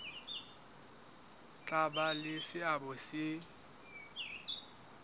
tla ba le seabo se